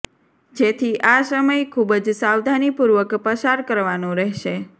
જેથી આ સમય ખૂબ જ સાવધાનીપૂર્વક પસાર કરવાનો રહેશે